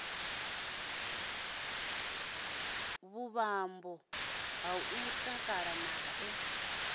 vhuṱambo ha u takala nae